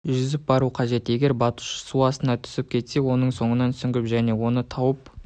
жүзіп бару қажет егер батушы су астына түсіп кетсе оның соңынан сүңгіп және оны тауып